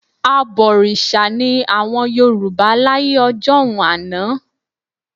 Abọ̀rìṣà ni àwọn Yorùbá láyé ọjọ́un àná